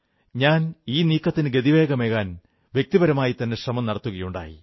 ഞാൻ ഈ നീക്കത്തിന് ഗതിവേഗമേകാൻ വ്യക്തിപരമായിത്തന്നെ ശ്രമം നടത്തുകയുണ്ടായി